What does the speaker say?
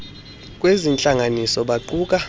lezi ntlanganiso baquka